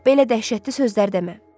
Belə dəhşətli sözlər demə.